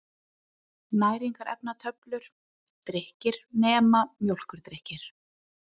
Næringarefnatöflur: Drykkir, nema mjólkurdrykkir.